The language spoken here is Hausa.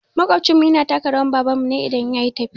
Maƙwabcin mu yana taka rawan baban mu ne idan yayi tafiya